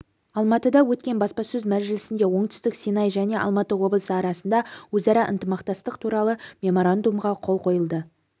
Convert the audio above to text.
алматыда өткен баспасөз мәжілісінде оңтүстік синай және алматы облысы арасында өзара ынтымақтастық туралы меморандумға қол қойылды